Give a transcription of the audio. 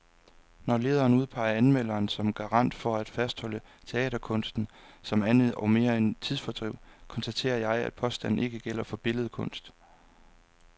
Når lederen udpeger anmelderen som garant for at fastholde teaterkunsten som andet og mere end tidsfordriv, konstaterer jeg, at påstanden ikke gælder for billedkunst.